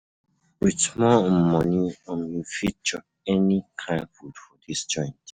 Wit small um moni, um you fit chop any kain food for dis joint.